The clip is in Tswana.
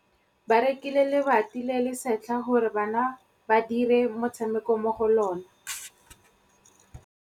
Ba rekile lebati le le setlha gore bana ba dire motshameko mo go lona.